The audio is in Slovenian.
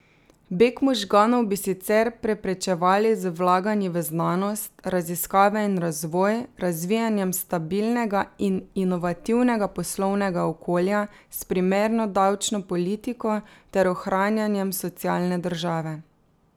Beg možganov bi sicer preprečevali z vlaganji v znanost, raziskave in razvoj, razvijanjem stabilnega in inovativnega poslovnega okolja s primerno davčno politiko ter ohranjanjem socialne države.